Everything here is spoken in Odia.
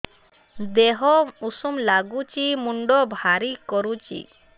ଦିହ ଉଷୁମ ନାଗୁଚି ମୁଣ୍ଡ ଭାରି କରୁଚି